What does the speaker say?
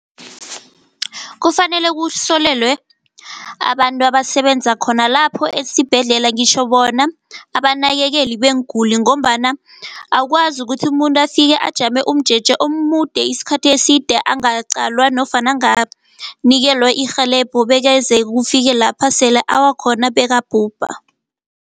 Kufanele kuhlolelwe abantu abasebenza khona lapho esibhedlela, ngitjho bona abanakekeli beenguli ngombana akukwazi ukuthi umuntu afike ajame umjeje omude isikhathi eside angaqalwa nofana anganikelwa irhelebho. Bekeze kufike lapha sele awa khona bekabhubhe.